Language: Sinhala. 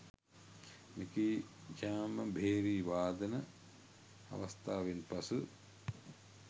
මෙකී ඡාම භේරි වාදන අවස්ථාවෙන් පසු